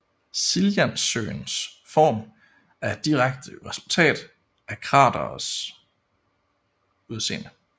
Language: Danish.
Siljansøens form er et direkte resultat af kraterets udseende